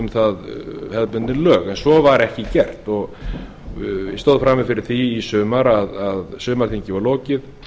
það hefðbundin lög en svo var ekki gert ég stóð frammi fyrir því í sumar að sumarþingi var lokið